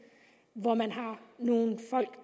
hvor man har nogle folk